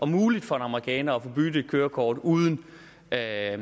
muligt for en amerikaner at få byttet et kørekort uden at